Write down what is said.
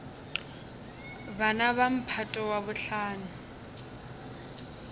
bana ba mphato wa bohlano